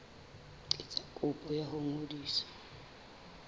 etsa kopo ya ho ngodisa